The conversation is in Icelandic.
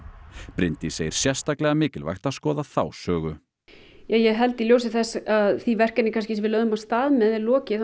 Bryndís segir sérstaklega mikilvægt að skoða þá sögu í ljósi þess að því verkefni sem við lögðum af stað með er lokið